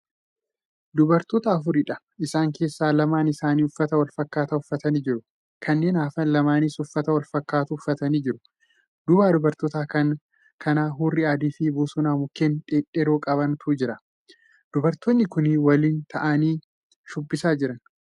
Dubartoota afuriidha. isaan keessaa lamaan isaanii uffata walfakkaataa uffatanii jiru. kanneen hafan lamaanis uffata wanfakkatu uffatanii jiru. duuba dubartoota kanaa hurrii adii fi bosona mukkeen dhedheeroo qabantu jira. dubartoonni Kuni waliin ta'anii shubbisaa Jiran.